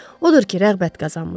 Odur ki, rəğbət qazanmışdı.